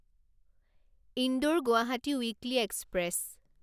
Indore Guwahati weekly express